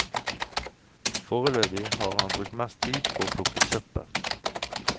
Foreløpig har han brukt mest tid på å plukke søppel.